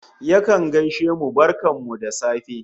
Yakan gaishe mu "barkan ku da safe"